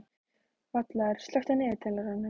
Vallaður, slökktu á niðurteljaranum.